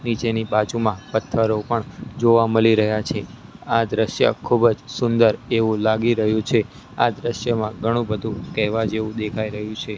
નીચેની બાજુમાં પથ્થરો પણ જોવા મળી રહ્યા છે આ દ્રશ્ય ખૂબ જ સુંદર એવું લાગી રહ્યું છે આ દ્રશ્યમાં ઘણું બધું કહેવા જેવું દેખાઈ રહ્યું છે.